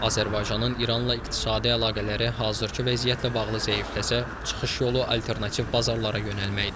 Azərbaycanın İranla iqtisadi əlaqələri hazırki vəziyyətlə bağlı zəifləsə, çıxış yolu alternativ bazarlara yönəlməkdir.